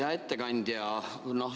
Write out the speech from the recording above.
Hea ettekandja!